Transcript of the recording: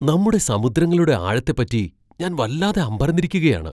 നമ്മുടെ സമുദ്രങ്ങളുടെ ആഴത്തെപ്പറ്റി ഞാൻ വല്ലാതെ അമ്പരന്നിരിക്കുകയാണ്!